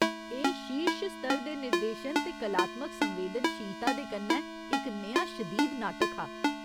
एह् शीर्श स्तर दे निर्देशन ते कलात्मक संवेदनशीलता दे कन्नै इक नेहा शदीद नाटक हा।